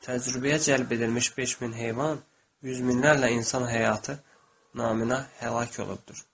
Təcrübəyə cəlb edilmiş 5000 heyvan, yüz minlərlə insan həyatı naminə həlak olubdur.